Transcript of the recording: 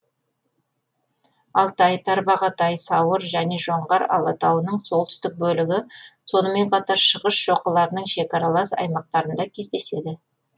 алтай тарбағатай сауыр және жоңғар алатауының солтүстік бөлігі сонымен қатар шығыс шоқыларының шекаралас аймақтарында кездеседі